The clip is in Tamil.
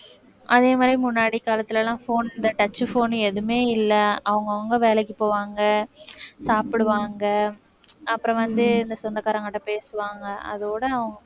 அதே மாதிரி முன்னாடி காலத்துலலாம் phone இந்த touch phone எதுவுமே இல்லை அவங்கவங்க வேலைக்கு போவாங்க சாப்பிடுவாங்க அப்புறம் வந்து இந்த சொந்தக்காரங்ககிட்ட பேசுவாங்க அதோட